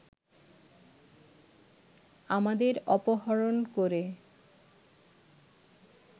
আমাদের অপহরণ করে